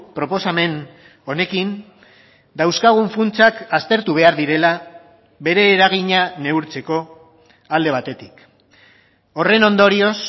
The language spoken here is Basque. proposamen honekin dauzkagun funtsak aztertu behar direla bere eragina neurtzeko alde batetik horren ondorioz